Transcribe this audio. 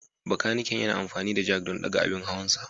Bakaniken yana amfani da jack don ɗaga abin hawansa.